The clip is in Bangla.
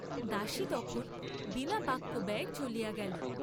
দাসী তখন বিনা বাক্যব্যয়ে চলিয়া গেল।